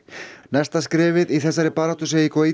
næsta skrefið í þessari baráttu segir